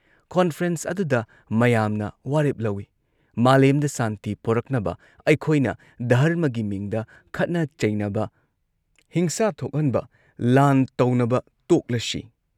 conference ꯑꯗꯨꯗ ꯃꯌꯥꯝꯅ ꯋꯥꯔꯦꯞ ꯂꯧꯏ ꯃꯥꯂꯦꯝꯗ ꯁꯥꯟꯇꯤ ꯄꯣꯔꯛꯅꯕ ꯑꯩꯈꯣꯏꯅ ꯙꯔꯃꯒꯤ ꯃꯤꯡꯗ ꯈꯠꯅ ꯆꯩꯅꯕ, ꯍꯤꯡꯁꯥ ꯊꯣꯛꯍꯟꯕ, ꯂꯥꯟ ꯇꯧꯅꯕ ꯇꯣꯛꯂꯁꯤ